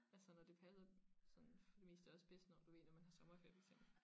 Altså når det passer sådan for det meste også bedst når du ved når man har sommerferie for eksempel